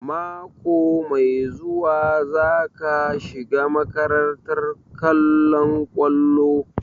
Mako mai zuwa za ka shiga makarantar kollon kwallo?